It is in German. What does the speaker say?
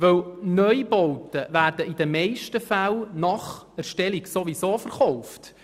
Denn Neubauten werden nach der Erstellung ohnehin meist verkauft.